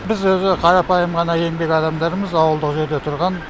біз өзі қарапайым ғана еңбек адамдарымыз ауылдық жерде тұрған